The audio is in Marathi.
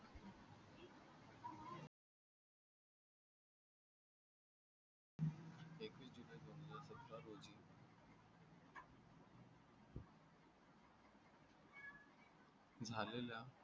झालेल्या